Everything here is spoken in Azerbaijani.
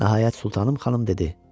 Nəhayət Sultanım xanım dedi: